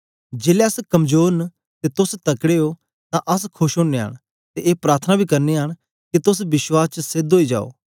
जेलै अस कमजोर न ते तोस तकड़े ओ तां अस खोश ओनयां न ते ए प्रार्थना बी करनयां न के तोस विश्वास च सेध ओई जाओ